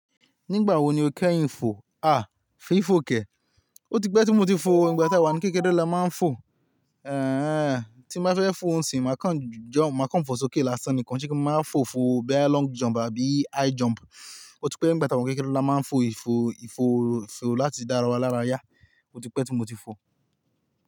Nígbà wo ni o kẹ́ yin fò? A! Fi fò kẹ́. O tí pẹ́ tí mo ti fo o, ígbà tí àwa ní kékeré la máa ń fo. Ehen, tí n ba fẹ́ fo ńsìn, màá kán jọm, màá kán fo sókè lásán nì ko n. Ṣé kí n máa wa fo fo bí i long jump àbí high jump? O tí pẹ́ nígbà tí àwa ní kékeré la máa ń fo ìfò, ìfò, ìfò láti dá ara wa lára yá. O tí pẹ́ tí mo ti fo.